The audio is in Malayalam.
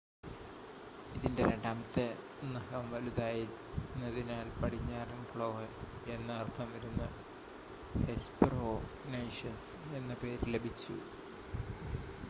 "ഇതിന്റെ രണ്ടാമത്തെ നഖം വലുതായിരുന്നതിനാൽ "പടിഞ്ഞാറൻ ക്ലോ" എന്ന് അർത്ഥം വരുന്ന ഹെസ്‌പെറോനൈഷസ് എന്ന പേര് ലഭിച്ചു.